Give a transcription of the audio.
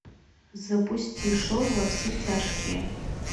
запусти шоу во все тяжкие